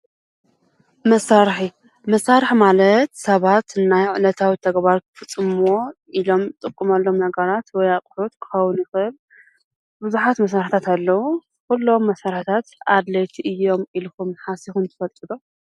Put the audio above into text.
መሳርሒ፡- መሳርሒ ማለት ሰባት ናይ ዕለታዊ ተግባር ክፍፅሙሎም ዝጥቆሙሎም ነገራት ወይ ኣቑሑት ክኸውን ይኽእል ብዙሓት መሳርሕታት ኣለዉ፡፡ ኲሎም መሳርሕታት ኣድለይቲ እዮም ኢልኹም ሓሲብም ትፈልጡ ዶ?